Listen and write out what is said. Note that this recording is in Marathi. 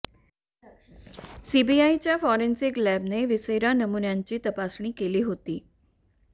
सीबीआयच्या फॉरेन्सिक लॅबने व्हिसेरा नमुन्यांची तपासणी केली होती